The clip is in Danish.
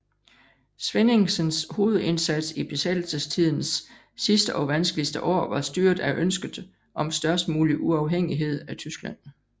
Svenningsens hovedindsats i besættelsestidens sidste og vanskeligste år var styret af ønsket om størst mulig uafhængighed af Tyskland